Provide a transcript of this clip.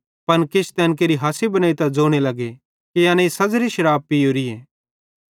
पन किछ तैन केरि हासी बनेइतां ज़ोने लगे कि एनेईं सज़री शराप पियोरीए